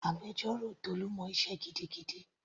Agbẹjọ́rò Tolu mọ sé gidigidi.